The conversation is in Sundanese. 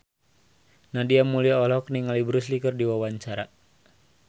Nadia Mulya olohok ningali Bruce Lee keur diwawancara